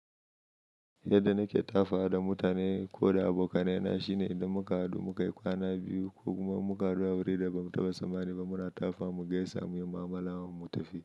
Yadda nake ta faɗa da mutane ko da abokanai na shine idan muka haɗu muka yi kwana biyu ko kuma in muka hadu a wurin da ba mu taba sammani ba muna tafa mu gaisa muyi ma'amala mu tafi.